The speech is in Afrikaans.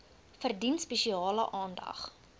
verdien spesiale aandag